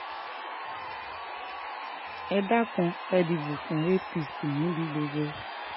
ẹ dákun ẹ̀ dìbò fún apc níbi gbogbo